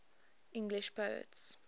english poets